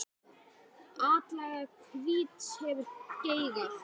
Atlaga hvíts hefur geigað.